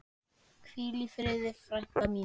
Hvíl í friði frænka mín.